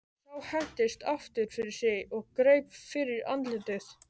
Sá hentist aftur fyrir sig og greip fyrir andlitið.